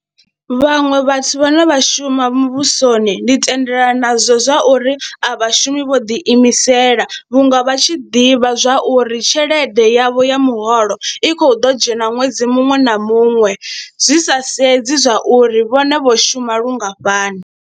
Vhaṅwe vhathu vhane vha shuma muvhusoni ndi tendelana nazwo zwa uri a vha shumi vho ḓiimisela vhunga vha tshi ḓivha zwa uri tshelede yavho ya muholo i khou ḓo dzhena ṅwedzi muṅwe na muṅwe zwi sa sedzi zwa uri vhone vho shuma lungafhani.